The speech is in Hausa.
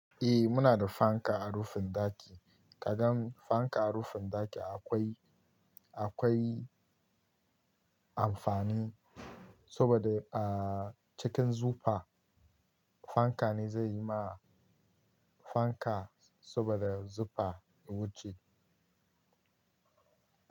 Eh muna da fanka a rufin ɗaki, kagan fanka a rufin ɗaki akwai, akwai amfani saboda a cikin zufa fanka ne zai yi ma fanka saboda zufa ya wuce.